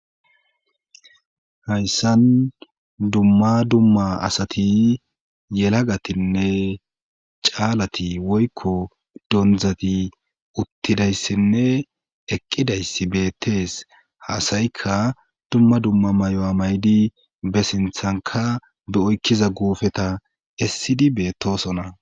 Hayssan dumma dumma asati yelagatinne caalati woykko dondzati uttidayssinne eqqidayssi beettees haasayikka dumma dumma may7o7a maydi be sinthanka be oykkiza guufeta essidi beetosona